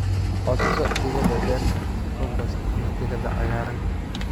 Codso digada beerta, compost, ama digada cagaaran."